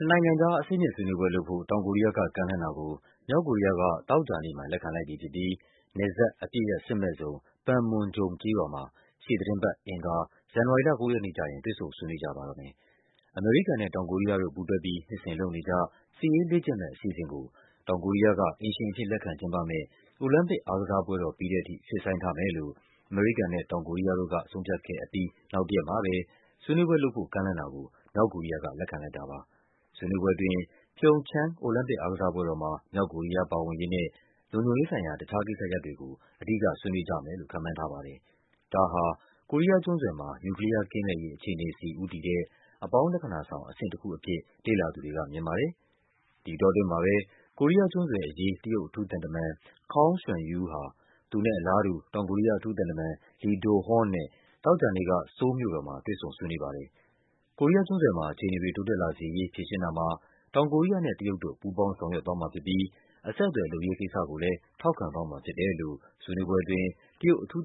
နိုင်ငံကြား အဆင့်မြင့် ဆွေးနွေးပွဲလုပ်ဖို့ တောင်ကိုရီးယားက ကမ်းလှမ်းတာကို မြောက်ကိုရီးယားက သောကြာနေ့မှာ လက်ခံ လိုက်ပြီဖြစ်ပြီး နယ်စပ် အပစ်ရပ် စစ်မဲ့ဇုံ Panmunjom ကျေးရွာမှာ ရှေ့သီတင်းပတ် အင်္ဂါ ဇန်နဝါရီလ ၉ ရက်နေ့ကျရင် တွေ့ဆုံ ဆွေးနွေးကြပါတော့မယ်။ အမေရိကန်နဲ့ တောင်ကိုရီးယားတို့ ပူးတွဲပြီး နှစ်စဉ်လုပ်နေကျ စစ်ရေးလေ့ကျင့်မယ့် အစီအစဉ်ကို တောင်ကိုရီးယားက အိမ်ရှင် အဖြစ်လက်ခံကျင်းပမယ့် အိုလံပစ်အားကစားပွဲတော်ပြီးတဲ့အထိ ရွှေ့ဆိုင်းထားမယ်လို့ အမေရိကန်နဲ့ တောင်ကိုရီးယားတို့က ဆုံးဖြတ်ခဲ့ပြီး နောက်တရက်မှာပဲ ဆွေးနွေးပွဲလုပ်ဖို့ကမ်းလှမ်းတာကို မြောက်ကိုရီးယားက လက်ခံလိုက်တာပါ။ ဆွေးနွေးပွဲအတွင်း PyeongChang အိုလံပစ်အားကစားပွဲတော်မှာ မြောက်ကိုရီးယားပါဝင်ရေးနဲ့ လုံခြုံရေးဆိုင်ရာ တခြားကိစ္စရပ်တွေကို အဓိက ဆွေးနွေးကြမယ်လို့ ခန့်မှန်းထားပါတယ်။ ဒါဟာ ကိုရီးယားကျွန်းဆွယ်မှာ နျူကလီးယားကင်းမဲ့ရေး အခြေအနေဆီ ဦးတည်တဲ့ အပေါင်းလက္ခဏာဆောင် အဆင့်တခုအဖြစ် လေ့လာသူတွေက မြင်ပါတယ်။ ဒီအတောအတွင်းမှာပဲ ကိုရီးယားကျွန်းဆွယ်အရေး တရုတ်အထူးသံတမန် Kong Xuanyou ဟာ သူနဲ့အလားတူ တောင်ကိုရီး ယား အထူးသံတမန် Lee Do-hoon နဲ့ သောကြာနေ့က ဆိုးလ်မြို့တော်မှာ တွေ့ဆုံ ဆွေးနွေးပါ တယ်။ ကိုရီးယားကျွန်းဆွယ်မှာ အခြေအနေတွေ တိုးတက်လာစေရေး ဖြေရှင်းတာမှာ တောင်ကိုရီးယားနဲ့ တရုတ်တို့ ပူးပေါင်း ဆောင်ရွက်သွားမှာဖြစ်ပြီး အဆက်အသွယ် လုပ်ရေးကိစ္စကိုလဲ ထောက်ခံသွားမှာဖြစ်တယ်လို့ ဆွေးနွေးပွဲအတွင်း တရုတ်အထူး